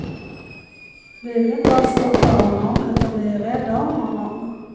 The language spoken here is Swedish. Vi vill inte alls stoppa honom, utan vi är rädda om honom.